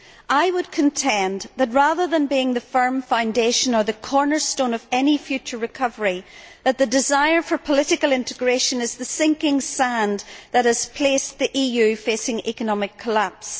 I would contend that, rather than being the firm foundation or the cornerstone of any future recovery, the desire for political integration is the sinking sand that has led to the EU facing economic collapse.